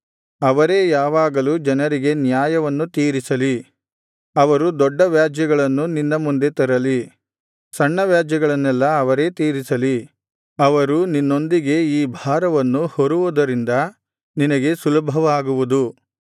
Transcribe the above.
ಅವರೇ ಯಾವಾಗಲೂ ಜನರಿಗೆ ನ್ಯಾಯವನ್ನು ತೀರಿಸಲಿ ಅವರು ದೊಡ್ಡ ವ್ಯಾಜ್ಯಗಳನ್ನು ನಿನ್ನ ಮುಂದೆ ತರಲಿ ಸಣ್ಣ ವ್ಯಾಜ್ಯಗಳನ್ನೆಲ್ಲಾ ಅವರೇ ತೀರಿಸಲಿ ಅವರು ನಿನ್ನೊಂದಿಗೆ ಈ ಭಾರವನ್ನು ಹೊರುವುದರಿಂದ ನಿನಗೆ ಸುಲಭವಾಗುವುದು